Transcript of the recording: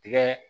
Tigɛ